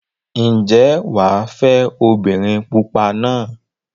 Ǹjẹ́ wà á fẹ́ obìnrin pupa náà?